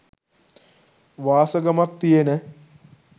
වාසගමක් තියෙන